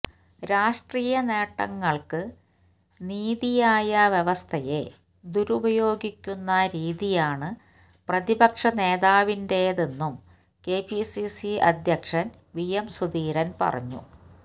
രാഷ്ട്രീയ നേട്ടങ്ങള്ക്ക് നീതിന്യായ വ്യവസ്ഥയെ ദുരുപയോഗിക്കുന്ന രീതിയാണ് പ്രതിപക്ഷ നേതാവിന്റേതെന്നും കെപിസിസി അധ്യക്ഷന് വിഎം സുധീരന് പറഞ്ഞു